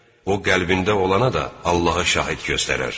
O qəlbində olana da Allahı şahid göstərər.